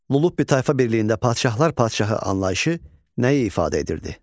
Lulubbi tayfa birliyində padşahlar padşahı anlayışı nəyi ifadə edirdi?